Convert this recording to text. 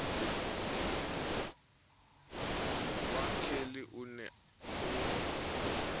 wa kelly o ne o